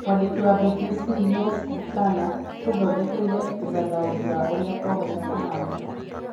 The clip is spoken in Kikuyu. Mwandĩki wa BBC Yves Bucyana atũthondekeire ũthathaũri wa ũrĩa kwahota kũhana